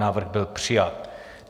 Návrh byl přijat.